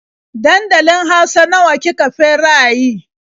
Dankalin hausa nawa ki ka feraye?